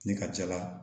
Ne ka ca la